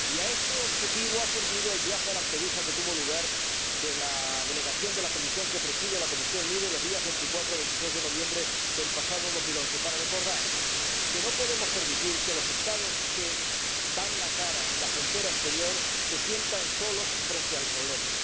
Y a ese objetivo ha servido el viaje a Lampedusa de la delegación de la comisión que presido, de la Comisión LIBE, que tuvo lugar los días 24 a 26 de noviembre del pasado 2011, para recordar que no podemos permitir que los Estados que dan la cara en la frontera exterior se sientan solos frente al problema.